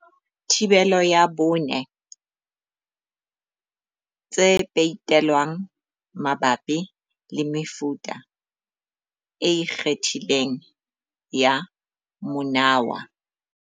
Theibole ya 4. Tse peitelwang mabapi le mefuta e ikgethileng ya monawa.